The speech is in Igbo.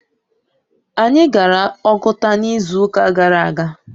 Anyị gara Oguta n'izu ụka gara aga.